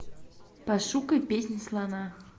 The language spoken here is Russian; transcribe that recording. пошукай песнь слона